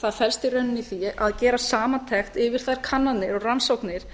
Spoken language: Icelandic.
það felst í rauninni í því að gera samantekt yfir þær kannanir og rannsóknir